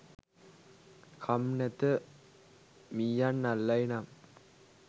කම් නැත මීයන් අල්ලයි නම්”